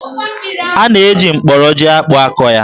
A na-eji mkporo jí-akpụ akọ ya